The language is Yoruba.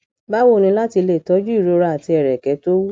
bawo ni lati le toju irora ati ẹrẹkẹ to wu